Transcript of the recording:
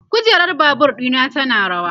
kujerar Babur ɗina tana rawa